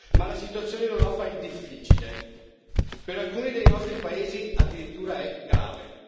Ma la situazione in Europa è difficile e, per alcuni dei nostri paesi, addirittura grave.